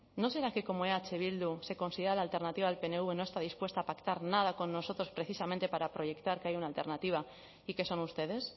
no será que como eh bildu se considera la alternativa al pnv no está dispuesta a pactar nada con nosotros precisamente para proyectar que hay una alternativa y que son ustedes